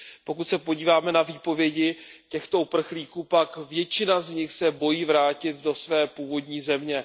Pokud se podíváme na výpovědi těchto uprchlíků, pak většina z nich se bojí vrátit do své původní země.